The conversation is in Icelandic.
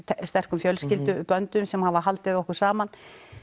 sterkum fjölskylduböndum sem hafa haldið okkur saman